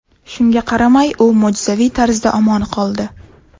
Shunga qaramay, u mo‘jizaviy tarzda omon qoldi.